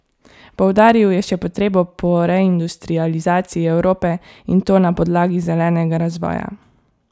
Poudaril je še potrebo po reindustrializaciji Evrope in to na podlagi zelenega razvoja.